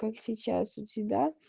как сейчас у тебя